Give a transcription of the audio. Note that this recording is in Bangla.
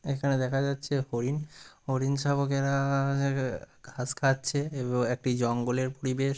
এখান এখানে দেখা যাচ্ছে হরিণ হরিণ শাবকেরা যেখা ঘাস খাচ্ছে এবং একটি জঙ্গলের পরিবেশ --।